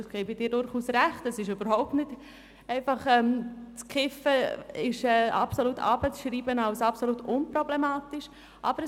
Ich gebe Grossrätin Geissbühler recht, dass man das Kiffen nicht einfach herunterspielen und als völlig unproblematisch bezeichnen kann.